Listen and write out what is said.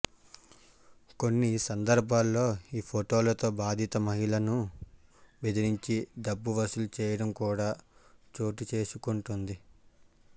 కొన్ని సందర్భాల్లో ఈ ఫొటోలతో బాధిత మహిళలను బెదరించి డబ్బు వసూలు చేయడం కూడా చోటుచేసుకుంటోంది